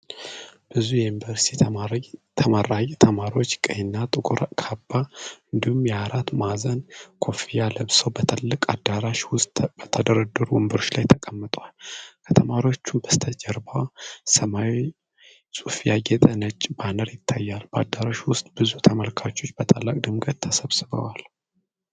ብዙ የዩኒቨርሲቲ ተመራቂ ተማሪዎች ቀይ እና ጥቁር ካባ እንዲሁም የአራት ማዕዘን ኮፍያ ለብሰው በትልቅ አዳራሽ ውስጥ በተደረደሩ ወንበሮች ላይ ተቀምጠዋል። ከተማሪዎቹ በስተጀርባ በሰማያዊ ጽሑፍ ያጌጠ ነጭ ባነር ይታያል። በአዳራሹ ውስጥ ብዙ ተመልካቾች በታላቅ ድምቀት ተሰብስበዋል።